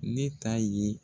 Ne ta ye.